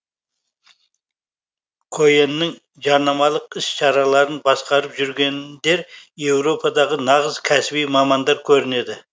коэннің жарнамалық іс шараларын басқарып жүрген дер еуропадағы нағыз кәсіби мамандар көрінеді